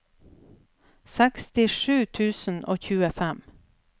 sekstisju tusen og tjuefem